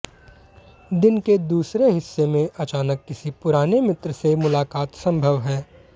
दिन के दूसरे हिस्से में अचानक किसी पुराने मित्र से मुलाकात संभव है